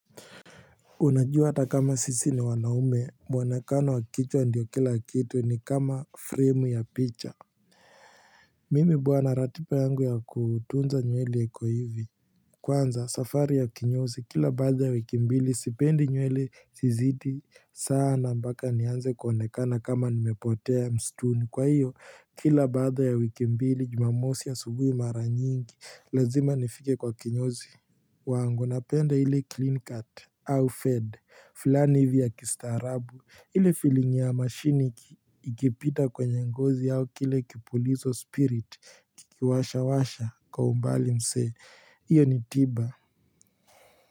Unajua hata kama sisi ni wanaume mwonekano wa kichwa ndio kila kitu ni kama frame ya picha Mimi bwana ratiba yangu ya kutunza nywele iko hivi Kwanza safari ya kinyozi kila baada ya wiki mbili sipendi nywele zizidi sana mpaka nianze kuonekana kama nimepotea mistuni kwa hiyo kila baada ya wiki mbili jumamosi subuhi mara nyingi lazimanifike kwa kinyozi wangu napenda hile clean cut au fed fulani hivi ya kistarabu ile fealing ya mashini ikipita kwenye ngozi au kile kipulizo spirit kikiwasha washa kwa umbali mse hiyo ni tiba.